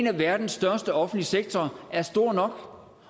af verdens største offentlige sektorer er stor